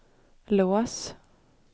lås